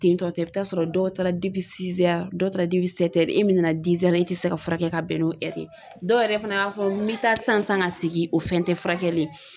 Tentɔtɛ i bɛ t'a sɔrɔ dɔw taara dɔw taara e min nana e tɛ se ka furakɛ ka bɛn n'o ye dɔw yɛrɛ fana b'a fɔ n bɛ taa sisan sisan ka segin o fɛn tɛ furakɛli ye.